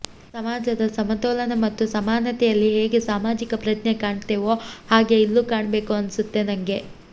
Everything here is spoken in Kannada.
ಸಮಾಜದ ಸಮತೋಲನ ಮತ್ತು ಸಮಾನತೆಯಲ್ಲಿ ಹೇಗೆ ಸಾಮಾಜಿಕ ಪ್ರಜ್ಞೆ ಕಾಣ್ತೇವೊ ಹಾಗೆ ಇಲ್ಲೂ ಕಾಣ್ಬೇಕು ಅನ್ಸುತ್ತೆ ನಂಗೆ